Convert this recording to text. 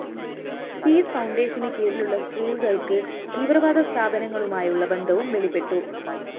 piece ഫൗണ്ടേഷന് കീഴിലുള്ള സ്‌കൂളുകള്‍ക്ക് തീവ്രവാദ സ്ഥാപനങ്ങളുമായുള്ള ബന്ധവും വെളിപ്പെട്ടു